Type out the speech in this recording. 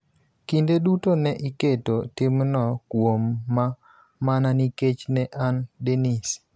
Kinde duto ne iketo timno kuoma mana nikech ne an Dennis.